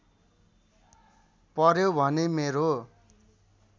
पर्‍यो भने मेरो